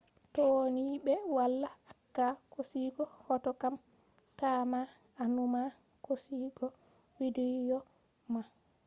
to ni ɓe wala acca hosugo hoto kam ta ma a numa hosugo widiyo man